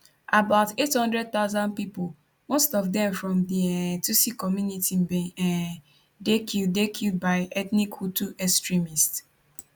about 800000 pipo most of dem from di um tutsi community bin um dey killed dey killed by ethnic hutu extremists